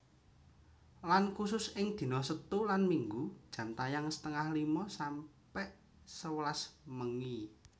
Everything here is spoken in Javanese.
Lan khusus ing dina setu lan Minggu jam tayang setengah limo sampe sewelas bengi